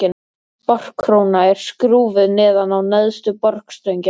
Borkróna er skrúfuð neðan á neðstu borstöngina.